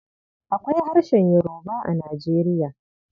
Akwai harshen Yoruba a Nijeriya.